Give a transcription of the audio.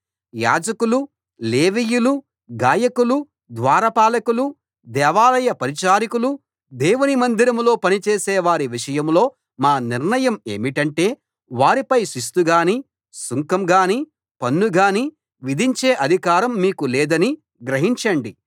యాజకులు లేవీయులు గాయకులు ద్వారపాలకులు దేవాలయ పరిచారకులు దేవుని మందిరంలో పనిచేసేవారి విషయంలో మా నిర్ణయం ఏమిటంటే వారిపై శిస్తు గానీ సుంకం గానీ పన్ను గానీ విధించే అధికారం మీకు లేదని గ్రహించండి